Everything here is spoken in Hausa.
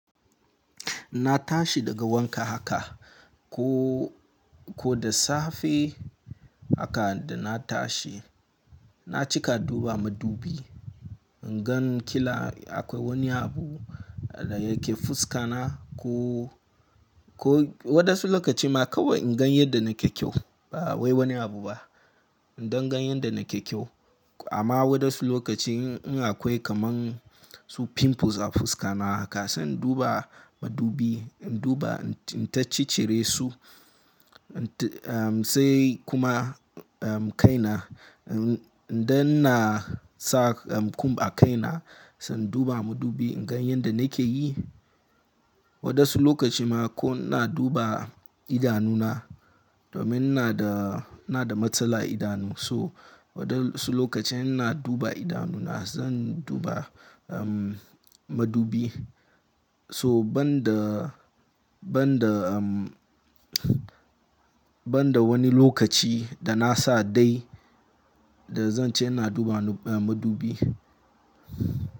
Na tashi daga wanka haka, ko, ko da safe haka da na tashi na cika duba madubi. In gan kila akwai wani abu da yake fuska na ko, ko wadansu lokaci ma kawai in gan yanda nake kyau. Ba wai wani abu ba. Indon gan yanda nake kyau. Amma wadansu lokaci in akwai kaman su pimples a fuska na, haka sanda in duba madubi, in duba in ta cicire su. Sai kuma, um, kai na, indon na sa kum a kai na, sanda in duba madubi in gan yanda nake yi. Wadansu lokaci ma ko in na duba idanu na domin ina da, ina da matsala idanu, so wadansu lokacin in na duba idanu na zan duba, um, madubi. So ban da, ban da, um, ban da wani lokaci da na sa dai da zan ce ina duba madubi.